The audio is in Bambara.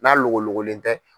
N'a logologolen tɛ.